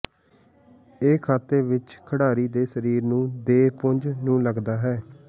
ਇਹ ਖਾਤੇ ਵਿੱਚ ਖਿਡਾਰੀ ਦੇ ਸਰੀਰ ਨੂੰ ਦੇ ਪੁੰਜ ਨੂੰ ਲੱਗਦਾ ਹੈ